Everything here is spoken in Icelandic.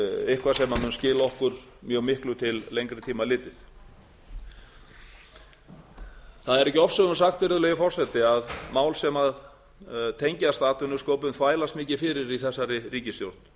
eitthvað sem mun skila okkur mjög miklu til lengri tíma litið það er ekki ofsögum sagt virðulegi forseti að mál sem tengjast atvinnusköpun þvælast mikið fyrir í þessari ríkisstjórn